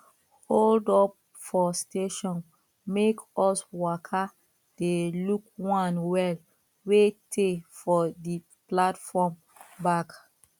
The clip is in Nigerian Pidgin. hold up for station make us waka dey look one well wey tey for di platform back